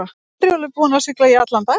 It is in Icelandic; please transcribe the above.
Herjólfur búinn að sigla í allan dag.